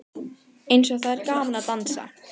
Eins og það er gaman að dansa!